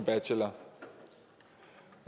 altså